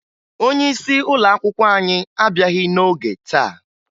Onyeisi ụlọakwụkwọ anyị abịaghị n'ọge taa